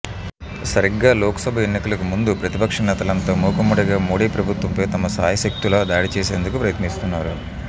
సరిగ్గా లోక్ సభ ఎన్నికలకు ముందు ప్రతిపక్ష నేతలంతా మూకుమ్మడిగా మోడీ ప్రభుత్వంపై తమ శాయశక్తులా దాడి చేసేందుకు ప్రయత్నిస్తున్నారు